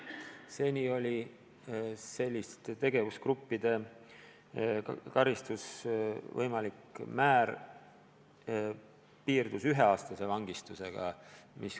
Seni piirdus selliste tegevusgruppide puhul karistuse võimalik määr üheaastase vangistusega.